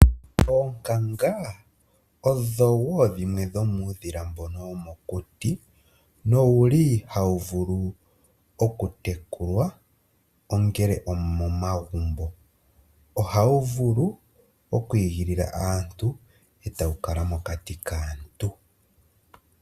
Oonkanga odho wo dhimwe dhomuudhila mbono womokuti, nowu li hawu vulu oku tekulwa ongele omomagumbo. Ohawu vulu oku igilila aantu e ta wu kala mokati kaantu.